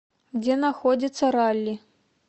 где находится ралли